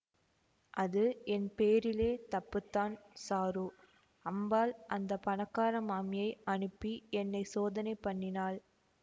அது என் பேரிலே தப்பு தான் சாரு அம்பாள் அந்த பணக்கார மாமியை அனுப்பி என்னை சோதனை பண்ணினாள்